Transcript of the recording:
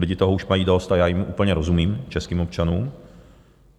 Lidi už toho mají dost a já jim úplně rozumím, českým občanům.